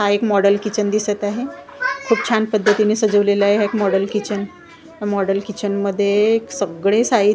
हा एक model kitchen दिसत आहे खूप छान पद्धतीने सजवलेलं आहे एक मॉडेल किचन मॉडेल किचन मध्ये सगळे साहि--